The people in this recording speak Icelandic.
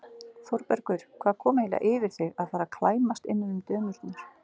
ÞÓRBERGUR: Hvað kom eiginlega yfir þig að fara að klæmast innan um dömurnar?